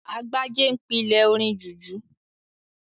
Agbájé n pílè orin jùjú